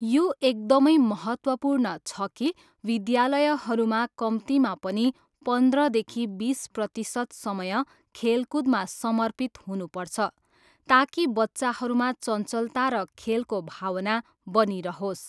यो एकदमै महत्त्वपूर्ण छ कि विद्यालयहरूमा कम्तीमा पनि पन्ध्रदेखि बिस प्रतिशत समय खेलकुदमा समर्पित हुनुपर्छ ताकि बच्चाहरूमा चञ्चलता र खेलको भावना बनिरहोस्।